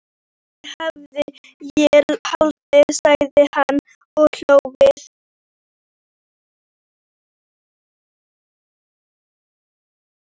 Það hefði ég haldið, sagði hann og hló við.